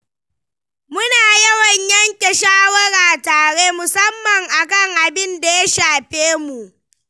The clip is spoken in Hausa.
Muna yawan yanke shawara tare, musamman a kan abin da ya shafe mu.